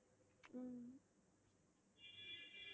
உம்